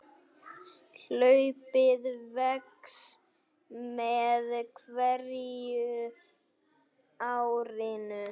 Hlaupið vex með hverju árinu.